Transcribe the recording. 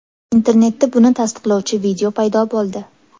Internetda buni tasdiqlovchi video paydo bo‘ldi.